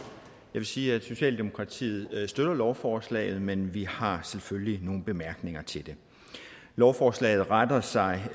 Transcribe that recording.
vil sige at socialdemokratiet støtter lovforslaget men vi har selvfølgelig nogle bemærkninger til det lovforslaget retter sig